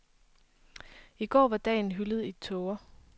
I går var dagen hyldet i tåger.